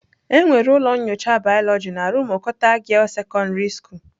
Enwere ụlọ nyocha biology na rumuokuwta girls secondary school.